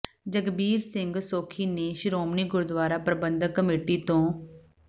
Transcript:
ਜਗਬੀਰ ਸਿੰਘ ਸੋਖੀ ਨੇ ਸ਼੍ਰੋਮਣੀ ਗੁਰਦੁਆਰਾ ਪ੍ਰਬੰਧਕ ਕਮੇਟੀ ਤੋਂ